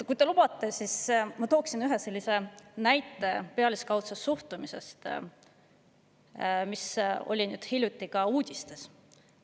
Kui te lubate, siis ma tooksin pealiskaudse suhtumise kohta ühe näite, mis oli hiljuti uudistes.